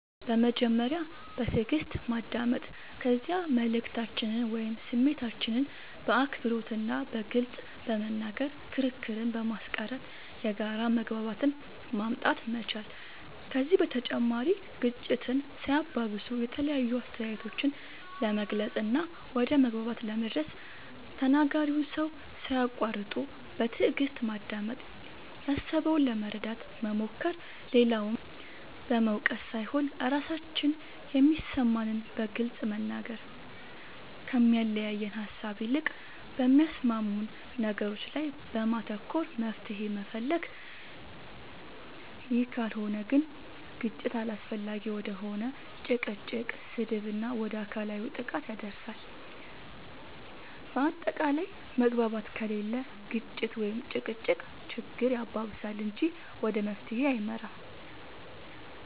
በመጀመሪያ በትእግስት ማዳመጥ ከዚያ መልእክታችንን ወይም ስሜታችንን በአክብሮት እና በግልፅ በመናገር ክርክርን በማስቀረት የጋራ መግባባትን ማምጣት መቻል ከዚህ በተጨማሪ ግጭትን ሳያባብሱ የተለያዩ አስተያየቶችን ለመግለፅ እና ወደ መግባባት ለመድረስ ተናጋሪውን ሰው ሳያቁዋርጡ በትእግስት ማዳመጥ ያሰበውን ለመረዳት መሞከር, ሌላውን በመውቀስ ሳይሆን ራሳችን የሚሰማንን በግልፅ መናገር, ከሚያለያየን ሃሳብ ይልቅ በሚያስማሙን ነገሮች ላይ በማተኮር መፍትሄ መፈለግ ይህ ካልሆነ ግን ግጭት አላስፈላጊ ወደ ሆነ ጭቅጭቅ, ስድብ እና ወደ አካላዊ ጥቃት ያደርሳል በአታቃላይ መግባባት ከሌለ ግጭት(ጭቅጭቅ)ችግር ያባብሳል እንጂ ወደ መፍትሄ አይመራም